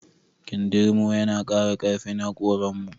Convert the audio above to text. Kindirmo yana ƙara ƙarfin haƙoran mu